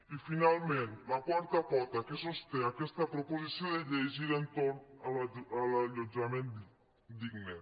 i finalment la quarta pota que sosté aquesta proposició de llei gira entorn de l’allotjament digne